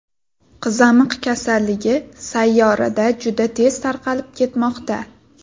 Qizamiq kasalligi sayyorada juda tez tarqalib ketmoqda.